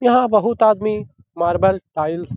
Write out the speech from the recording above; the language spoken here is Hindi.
यहाँ बहुत आदमी मार्बल टाइल्स --